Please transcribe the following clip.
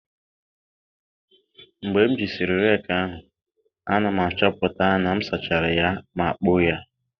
Mgbe m jisịrị rake ahụ, a na m achọpụta na m sachara ya ma kpoo ya.